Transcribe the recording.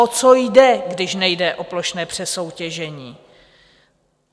O co jde, když nejde o plošné přesoutěžení?